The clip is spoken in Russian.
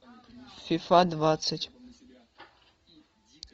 фифа двадцать